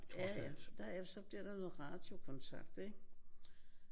Ja ja. Der er så bliver der noget radiokontakt ik?